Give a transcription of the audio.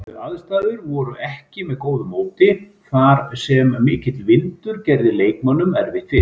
Aðstæður voru ekki með góðu móti þar sem mikill vindur gerði leikmönnum erfitt fyrir.